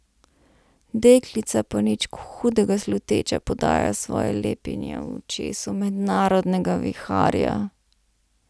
Deklica pa nič hudega sluteča prodaja svoje lepinje v očesu mednarodnega viharja.